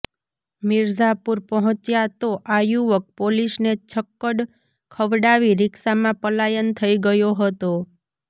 મિરઝાપુર પહોંચ્યા તો આ યુવક પોલીસને છક્કડ ખવડાવી રિક્ષામાં પલાયન થઈ ગયો હતો